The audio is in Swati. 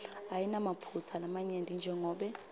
ayinamaphutsa lamanyenti jengobe